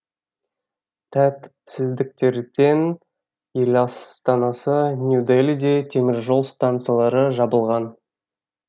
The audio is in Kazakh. тәртіпсіздіктерден еластанасы нью делиде теміржол станциялары жабылған